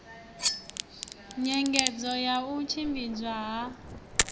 nyengedzo ya u tshimbidzwa ha